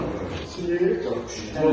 gedir, gəlir.